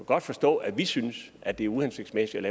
godt forstå at vi synes at det er uhensigtsmæssigt